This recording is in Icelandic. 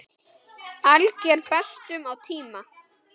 Alger bestun á tíma.